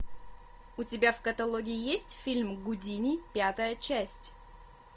у тебя в каталоге есть фильм гудини пятая часть